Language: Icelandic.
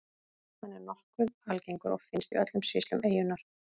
Hann er nokkuð algengur og finnst í öllum sýslum eyjunnar.